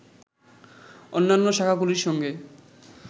অন্যান্য শাখাগুলির সঙ্গে